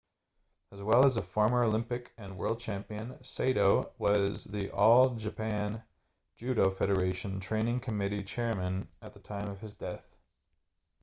as well as a former olympic and world champion saito was the all japan judo federation training committee chairman at the time of his death